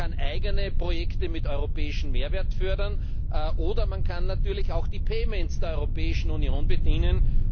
Man kann eigene Projekte mit europäischem Mehrwert fördern, oder man kann die payments der Europäischen Union bedienen.